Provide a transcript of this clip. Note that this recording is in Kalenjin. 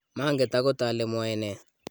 manget akot ale mwoe ne